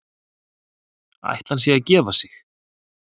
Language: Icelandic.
Ætli hann sé að gefa sig?